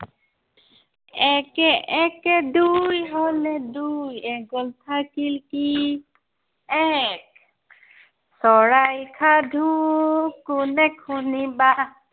একে একে দুই হলে দুইৰ এক গ'ল থাকিল কি, এক। চৰাইৰ সাধু কোনে শুনিবা।